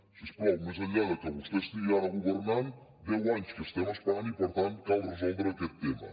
si us plau més enllà de que vostè estigui ara governant fa deu anys que estem esperant i per tant cal resoldre aquest tema